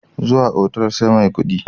Zuwa otal sai mai kudi.